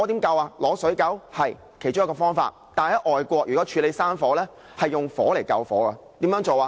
對，這是其中一個方法，但在外國如要處理山火，是利用火來救火，怎樣做呢？